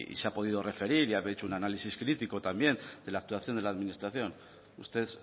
se ha podido referir y ha hecho un análisis crítico también de la actuación de la administración usted